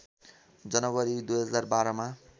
जनवरी २०१२ मा